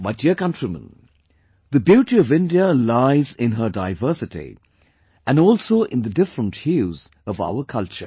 My dear countrymen, the beauty of India lies in her diversity and also in the different hues of our culture